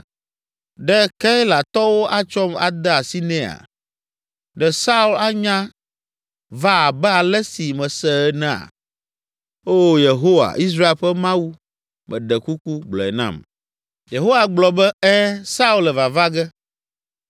Ɖe Keilatɔwo atsɔm ade asi nɛa? Ɖe Saul anya va abe ale si mese enea? Oo, Yehowa, Israel ƒe Mawu, meɖe kuku, gblɔe nam.” Yehowa gblɔ be, “Ɛ̃, Saul le vava ge.”